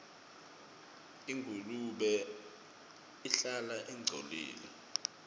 ingulube ihlala ingcolile